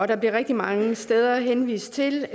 der bliver rigtig mange steder henvist til